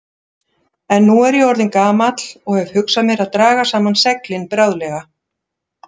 En nú er ég orðinn gamall og hef hugsað mér að draga saman seglin bráðlega.